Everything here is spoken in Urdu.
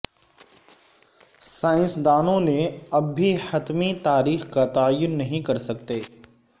سائنسدانوں نے اب بھی حتمی تاریخ کا تعین نہیں کر سکتے